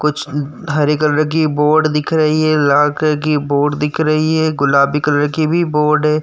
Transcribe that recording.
कुछ हरे कलर की बोर्ड बोट दिख रही है लाखे की बोर्ड दिख रही है गुलाबी कलर की भी बोर्ड है।